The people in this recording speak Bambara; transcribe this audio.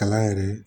Kalan yɛrɛ